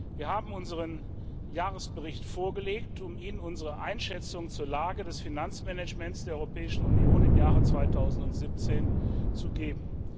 Wir haben unseren Jahresbericht vorgelegt, um Ihnen unsere Einschätzung zur Lage des Finanzmanagements der Europäischen Union im Jahr 2017 zu geben.